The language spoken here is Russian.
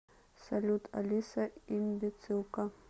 салют алиса имбецилка